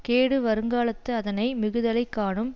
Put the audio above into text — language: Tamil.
கேடு வருங்காலத்து அதனை மிகுதலைக் காணும்